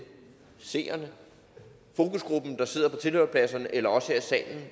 seerne fokusgruppen der sidder på tilhørerpladserne eller os her i salen